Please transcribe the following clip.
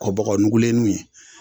Kɔ bɔgɔnugulennu ye